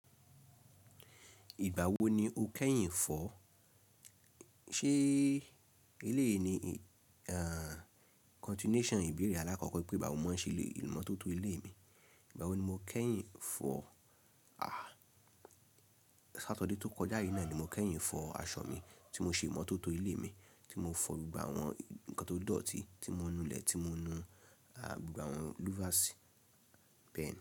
Ìgbà wo ni o kẹ́yìn fọ́? Ṣé eléyìí ni continuation ìbéèrè alákọ̀kọ́ pé ìgbà wo n màa ń ṣe ìmọ́tótó ilé mi? Ìgbà wo ni mo kẹ́yìn fọ́? Àá, ṣáturday tó kọjá yìí náà ni mo kẹ́yìn fọ́ aṣọ mi tí mo ṣe ìmọ́tótó ilé mi, tí mo fọ gbogbo àwọn nǹkan tó dọ̀ọ̀tí, tí mo nu ilẹ̀, tí mo nu àwọn lúfàsì, bẹ́ẹ̀ni.